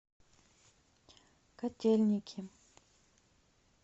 котельники